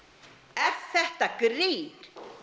er þetta grín